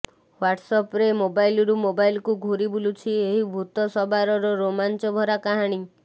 ହ୍ୱାଟ୍ସଆପରେ ମୋବାଇଲରୁ ମୋବାଇଲକୁ ଘୂରି ବୁଲୁଛି ଏହି ଭୂତ ସବାରର ରୋମାଞ୍ଚଭରା କାହାଣୀ